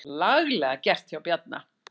Laglega gert hjá Bjarna.